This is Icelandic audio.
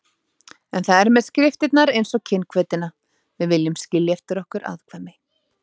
En það er með skriftirnar einsog kynhvötina: við viljum skilja eftir okkur afkvæmi.